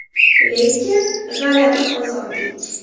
Lekin, g‘alaba qozondik.